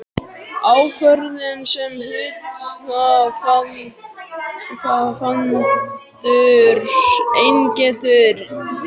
ákvörðun sem hluthafafundur einn getur tekið.